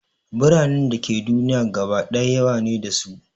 Biranen da ke duniya gaba ɗaya yawa ne da su